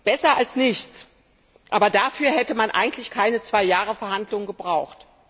Besser als nichts aber dafür hätte man eigentlich keine zwei Jahre Verhandlungen gebraucht!